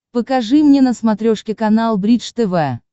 покажи мне на смотрешке канал бридж тв